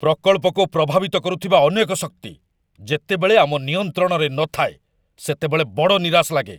ପ୍ରକଳ୍ପକୁ ପ୍ରଭାବିତ କରୁଥିବା ଅନେକ ଶକ୍ତି ଯେତେବେଳେ ଆମ ନିୟନ୍ତ୍ରଣରେ ନଥାଏ, ସେତେବେଳେ ବଡ଼ ନିରାଶ ଲାଗେ।